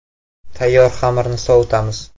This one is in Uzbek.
Tayyor xamirni sovitamiz.